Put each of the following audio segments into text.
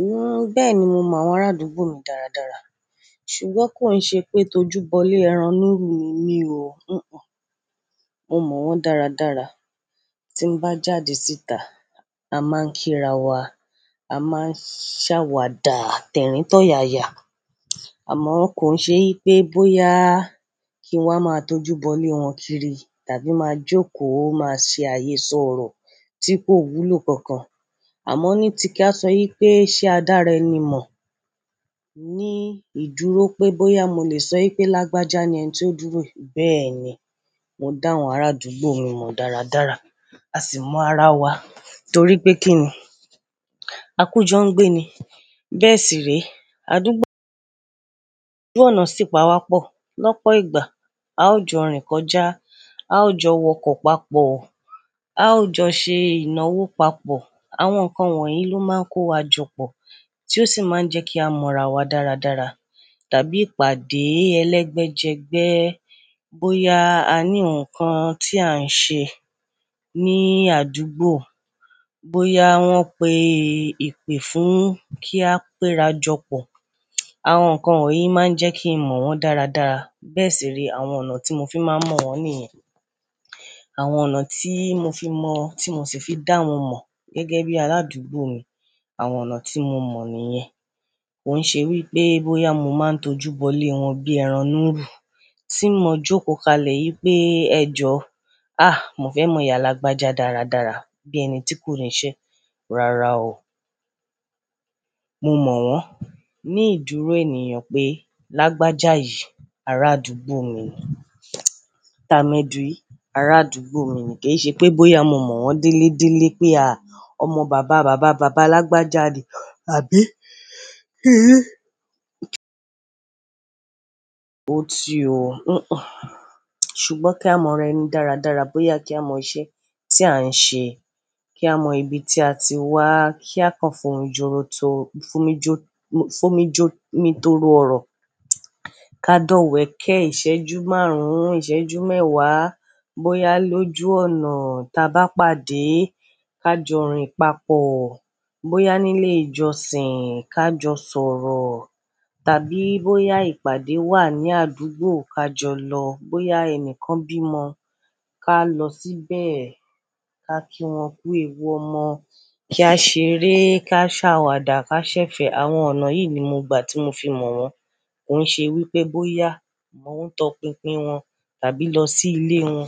N-n bẹ́ẹ̀ni, mo mọ àwọn arádúgbò mi dáradára. Sugbon kò ṣe pé tó júbọ lé ẹran núrù ni mí o. N-n-n, mo mọ wọ́n dáradára. Tí n bá jáde síta, a máa ń kírawọ, a máa ń ṣàwàdà tẹ̀ríntọ̀ yaya. Àmọ kò ṣe wípé bóyá kí wọ́n máa tó júbọ lé wọn kiri tàbí máa jókòó máa ṣe àyésọ ọ̀rọ̀ tí kò wúlò kan kan. Àmọ ní ti kí a sọ wípé sé a dára ẹni mọ̀, ní ìdúró pé bóyá mo lè sọ wípé Lágbájá ni ẹni tó dúró. Bẹ́ẹ̀ni, mo dá àwọn arádúgbò mi mọ dáradára. A sì mọ ara wa torípé kí ni? Akújọ ń gbé ni. Bẹ́ẹ̀ sì rèé. Àdúgbò ojú ọ̀nà sì pa wá pọ̀. Lọ́pọ̀ ìgbà a ó jọ rìn kọjá, a ó jọ wọkọ̀ papọ̀, a ó jọ ṣe ìnáwó papọ̀. Àwọn nǹkan wọ̀nyí ló máa ń kó wa jọpọ̀ tí ó sì máa ń jẹ́ kí a mọ ara wa dáradára. Tàbí ìpàdé ẹlẹ́gbẹ́jẹgbẹ́. Bóyá a ní nǹkan tí a ń ṣe ní àdúgbò, bóyá wọ́n pe ìpè fún kí a péra jọpọ̀. Àwọn nǹkan wọ̀nyí máa ń jẹ́ kí n mọ wọ́n dáradára. Bẹ́ẹ̀ sì rèé àwọn ọ̀nà tí mo fi máa ń mọ wọ́n nìyẹn. Àwọn ọ̀nà tí mo fi mọ, tí mo sì fi dá wọn mọ gẹ́gẹ́ bí arádúgbò mi, àwọn ọ̀nà tí mo mọ̀ ni ìyẹn. Kò ṣe wípé bóyá mo máa tó júbọ lé wọn bí ẹran núrù tí mo jókòó kalẹ̀ wípé ẹ jọ, "à! Mo fẹ́ mọ ìyá Lágbájá dáradára." Bí ẹni tí kò ní iṣẹ́. Rara o. Mo mọ wọ́n ní ìdúró ènìyàn pé Lágbájá yìí arádúgbò mi ni. Tamedu yìí arádúgbò mi ni. Kò ṣe pé bóyá mo mọ wọ́n délé délé pé a! Ọmọ bàba bàba bàba Lágbájá ni. Àbí? Hé! Ó ti o. N-n-n. Sugbon kí a mọ ara ẹni dáradára, bóyá kí a mọ iṣẹ́ tí à ń ṣe, kí a mọ ibi tí a ti wá, kí a kàn fún un ìjọ́ro tó, fún mi jó, fún mi jó, mi toro ọ̀rọ̀. Ka dọ́wẹ̀ kẹ́ ìṣẹ́jú márùn-ún, ìṣẹ́jú mẹ́wàá. Bóyá lójú ọ̀nà, tí a bá pàdé, ká jọ rìn papọ̀. Bóyá nílé ìjọsìn, ká jọ sọ̀rọ̀. Tàbí bóyá ìpàdé wà ní àdúgbò, ká jọ lọ. Bóyá ẹni kan bímọ, ká lọ síbẹ̀, ká kí wọn kú ewu ọmọ, kí á ṣeré, ká ṣàwàdà, ká ṣẹ̀fẹ̀. Àwọn ọ̀nà yìí ni mo gbà tí mo fi mọ̀ wọ́n. Kò ṣe wípé bóyá mò ń tọ pinpin wọn tàbí lọ sí ilé wọn.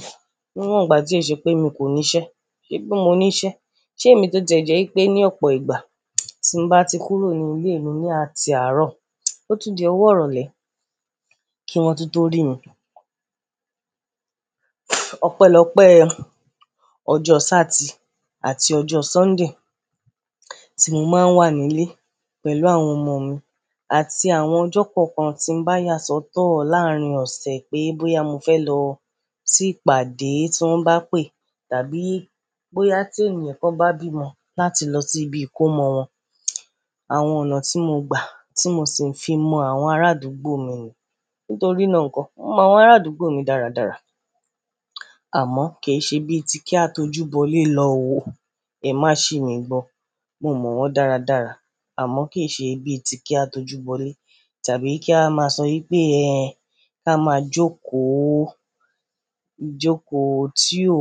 Níwọ̀n ìgbà tí ó ṣe pé mi kò ní iṣẹ́. Ṣé bí mo ní iṣẹ́. Ṣé èmi tó jẹ́ wípé ní ọ̀pọ̀ ìgbà tí mo bá ti kúrò ní ilé mi ní ati àárọ̀, ó tún di ọwọ́ ìrọ̀lẹ́ kí wọn tó tó rí mi. Ọ̀pẹlọ́pẹ ọjọ́ Sátì àti ọjọ́ Sọ́ndè tí mo máa ń wà nílé pẹ̀lú àwọn ọmọ mi àti àwọn ọjọ́ kọ̀ọ̀kan tí bá yà sọ́tọ̀ láàárín ọ̀sẹ̀ pé bóyá mo fẹ́ lọ sí ìpàdé tí wọ́n bá pè tàbí bóyá tí ènìyàn kan bá bímọ láti lọ sí ibi ìkómọ wọn. Àwọn ọ̀nà tí mo gbà tí mo sì fi mọ àwọn arádúgbò mi ni. Nítorí náà ńkọ́ mo mọ àwọn arádúgbò mi dáradára. Àmọ́, kì í ṣe bí i tí kí á tó júbọ lé lọ o. Ẹ má sì mí gbọ́ Mo mọ wọ́n dáradára. Àmọ́ kì í ṣe bí i tí kí á tó júbọ lé tàbí kí a máa sọ wípé ẹ, ká máa jókòó jókòó tí ò,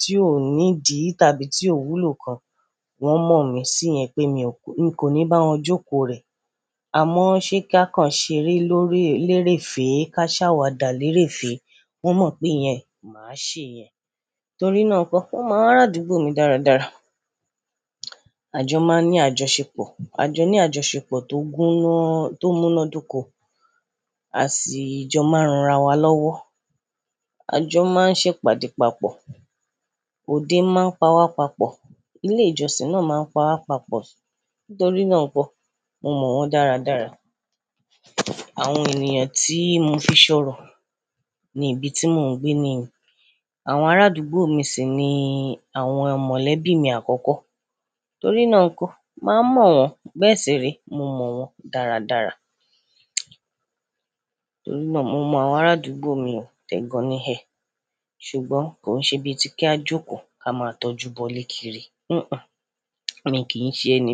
tí ò ní ìdí tàbí tí ò wúlò kan. Wọn mọ̀ mí sí yẹn pé mi ò, mi kò ní bá wọn jókòó rẹ̀. Àmọ́ ṣe kí á kàn ṣeré lórí lérè fẹ̀ẹ́ ká ṣàwàdà lérè fẹ̀ẹ́, wọ́n mọ̀ pé ìyẹn, máa ṣe yẹn. Nítorí náà ǹkọ́, wọ́n mọ arádúgbò mi dáradára. Àjọ máa ń ní àjọṣepọ̀. Àjọ ní àjọṣepọ̀ tó gúná, tó mú iná dọ́kọ. À sì jọ máa ń ran ara wa lọ́wọ́. Àjọ máa ń ṣe ìpàdé papọ̀. Òde máa ń pa wá papọ̀. Ilé ìjọsìn náà máa ń pa wá papọ̀. Nítorí náà nǹkan, mo mọ wọ́n dáradára. Àwọn ènìyàn tí mo fi ṣọ̀rọ̀ ní ibi tí mò ń gbé ni ìyẹn. Àwọn arádúgbò mi sì ni àwọn mọlẹ́bí mi àkọ́kọ́. Nítorí náà ńkọ́, màá mọ̀ wọ́n. Bẹ́ẹ̀ sì rí, mo mọ wọ́n dáradára. Nítorí náà mo mọ àwọn arádúgbò mi o. Tẹ̀gàn ni ẹ̀. Sugbon kò ṣe bí i tí kí á jókòó kí a máa tó júbọ lé kiri. N-n-n, mi kì í ṣe ẹni.